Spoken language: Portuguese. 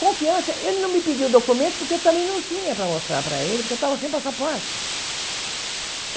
Confiança, ele não me pediu o documento porque eu também não tinha para mostrar para ele, porque eu estava sem passaporte.